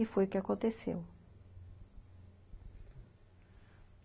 E foi o que aconteceu.